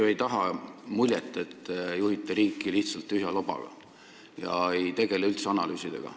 Te ei taha ju jätta muljet, et te juhite riiki lihtsalt tühja lobaga ega tegele üldse analüüsidega.